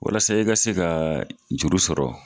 Walasa i ka se ka juru sɔrɔ.